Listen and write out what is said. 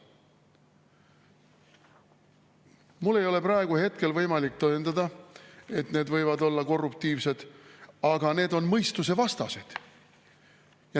Mul ei ole praegu võimalik tõendada, et need võivad olla korruptiivsed, aga need on mõistusevastased.